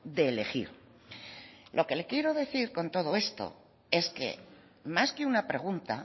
de elegir lo que le quiero decir con todo esto es que más que una pregunta